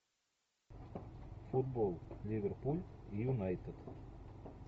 футбол ливерпуль юнайтед